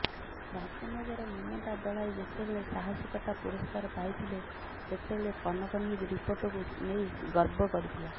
ରାଜନଗରର ମମତା ଦଳାଇ ଯେତେବେଳେ ସାହାସିକତା ପୁରଷ୍କାର ପାଉଥିଲେ ସେତେବେଳେ କନକ ନ୍ୟୁଜ ରିପୋର୍ଟକୁ ନେଇ ଗର୍ବ କରିଥିଲା